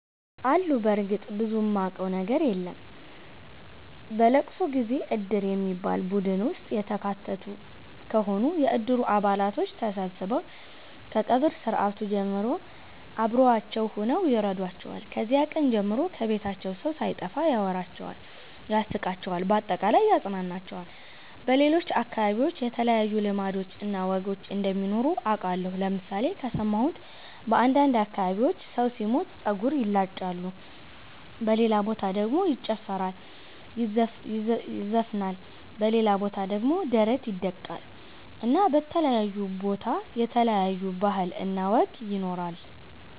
አሉ በርግጥ ብዙም ማቀው ነገር የለም። በለቅሶ ጊዜ እድር በሚባል ቡድን ውስጥ የተካተቱ ከሆኑ የእድሩ አባላቶች ተሠብስበው ከቀብር ስርአት ጀምሮ አብሮዋቸው ሁነው ይረዷቸዋል። ከዚያ ቀን ጀምሮ ከቤታቸው ሠው ሣይጠፋ ያወራቸዋል ያስቃቸዋል በአጠቃላይ ያፅናናቸዋል። በሌሎች አከባቢዎች የተለዩ ልማዶች እና ወጎች እንደሚኖሩ አቃለሁ ለምሣሌ ከሠማሁት በአንዳንድ አከባቢዎች ሠው ሢሞት ጸጉር ይላጫሉ በሌላ በታ ደሞ ይጨፈራል ይዘፍናል በሌላ ቦታ ደሞ ደረት ይደቃል እና በተለያየ ቦታ የተለያየ ባህል እና ወግ ይኖራል።